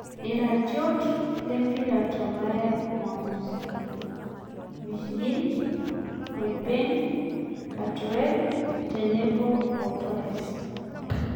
Iratiot lempira tolaya Jumamosi: Mcginn, Hojberg, Cantwell tenebo o Torres